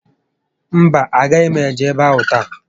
Mba, a gaghị m eje ébé áhụ̀ taa